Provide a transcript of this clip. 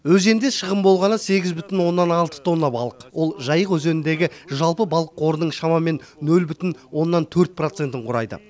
өзенде шығын болғаны сегіз бүтін оннан алты тонна балық ол жайық өзеніндегі жалпы балық қорының шамамен нөл бүтін оннан төрт процентін құрайды